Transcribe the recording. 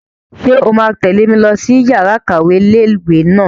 Ṣé o máa tẹ̀lé mi lọ sí yàrá-ìkàwé ilé-ìwé náà?